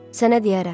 Sənə deyərəm.